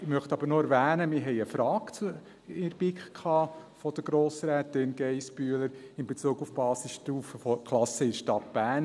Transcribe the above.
Ich möchte aber noch erwähnen, dass wir in der BiK eine Frage von Grossrätin Geissbühler hatten, in Bezug auf die Basisstufenklassen in der Stadt Bern.